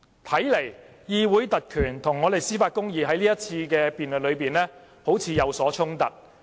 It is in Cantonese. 看來，議會特權與司法公義在這場辯論中有所衝突。